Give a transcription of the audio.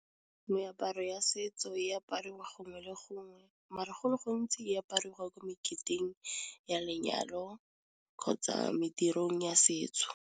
Meaparo ya setso e aparwe gongwe le gongwe, mara gole gontsi e apariwa kwa meketeng ya lenyalo, kgotsa medirong ya setso.